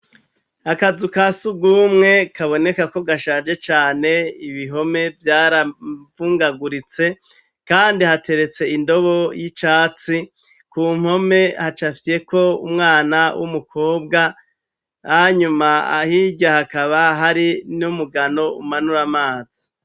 Akazu ka surwumwe kaboneka ko gashaje cane ibihome vyaravungaguritse, kandi hateretse indobo y'icatsi, ku mpome hacafyeko umwana w'umukobwa, hanyuma hirya hakaba hari n'umugano umanura amazi.